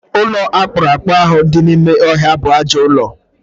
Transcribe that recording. Ụlọ akpụrụakpụ ahụ dị n'ime ọhịa bụ ajọọ ụlọ.